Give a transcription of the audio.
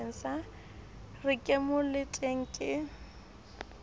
re ke mo letele ke